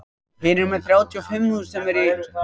Edwin á í vandræðum með fótinn sinn.